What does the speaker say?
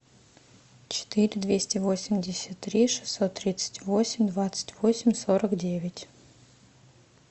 четыре двести восемьдесят три шестьсот тридцать восемь двадцать восемь сорок девять